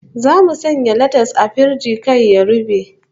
Zamu sanya latas a firiji kar ya rube